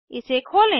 इसे खोलें